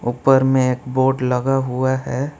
ऊपर में बोर्ड लगा हुआ है।